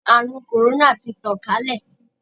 Àrùn kòrónà ti tàn kálẹ̀.